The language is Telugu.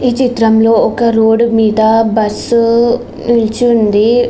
ఈ చిత్రంలోని ఒక రోడ్డు మీద బస్సు నిలిచి ఉంది.